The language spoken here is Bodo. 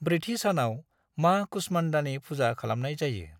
ब्रैथि सानाव मां कुष्मांडानि फुजा खालामनाय जायो।